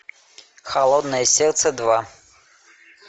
холодное сердце два